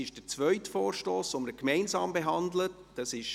Ist der zweite Vorstoss, den wir gemeinsam behandeln, bestritten?